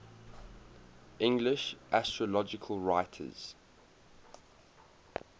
english astrological writers